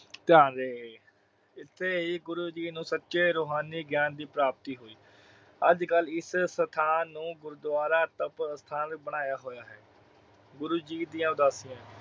ਧਿਆਨ ਰਹੇ ਇਥੇ ਹੀ ਗੁਰੂ ਜੀ ਨੂੰ ਸੱਚੇ ਰੂਹਾਨੀ ਗਿਆਨ ਦੀ ਪ੍ਰਾਪਤੀ ਹੋਈ। ਅੱਜ-ਕੱਲ ਇਸ ਸਥਾਨ ਨੂੰ ਗੁਰਦੁਆਰਾ ਤਪੋਸਤਾਨ ਬਣਾਇਆ ਹੋਇਆ ਹੈ ਗੁਰੂ ਜੀ ਦੀਆਂ ਉਦਾਸੀਆਂ